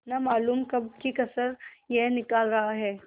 न मालूम कब की कसर यह निकाल रहा है